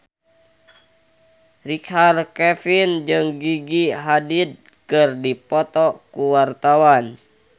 Richard Kevin jeung Gigi Hadid keur dipoto ku wartawan